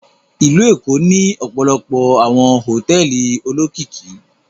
Ìlú Èkó ní ọpọlọpọ awọn hotẹẹli olokiki